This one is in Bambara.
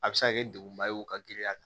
A bɛ se ka kɛ degunba ye o ka girinya